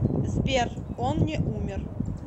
сбер он не умер